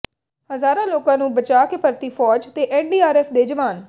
ਹਜ਼ਾਰਾਂ ਲੋਕਾਂ ਨੂੰ ਬਚਾਅ ਕੇ ਪਰਤੀ ਫੌਜ ਤੇ ਐੱਨਡੀਆਰਐੱਫ ਦੇ ਜਵਾਨ